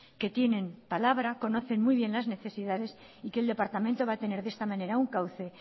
que tienen palabra conocen muy bien las necesidades y que el departamento va a tener de esta manera un cauce